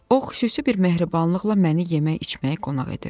O xüsusi bir mehribanlıqla məni yemək-içməyə qonaq edirdi.